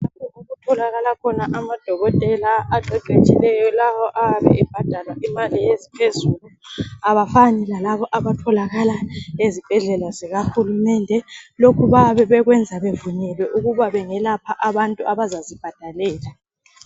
Lapha yikho okutholakala khona amadokotela aqeqetshileyo lawa ayabe ebhadalwa imali eziphezulu, abafani lalaba abatholakala ezibhedlela zikahulumende. Lokhu bayabe bekwenza bevunyelwe ukuba bengalapha abantu abazazibhadalela